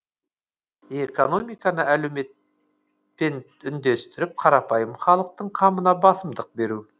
экономиканы әлеуметпен үндестіріп қарапайым халықтың қамына басымдық беру